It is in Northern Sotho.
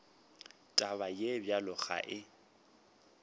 taba ye bjalo ga e